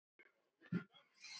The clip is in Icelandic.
Þá leit hún til hans.